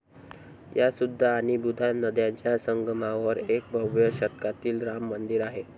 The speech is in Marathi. या सुधा आणि बुधा नद्यांच्या संगमावर एक भव्य शतकातील राम मंदिर आहे.